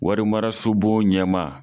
Warimaraso bon ɲɛma.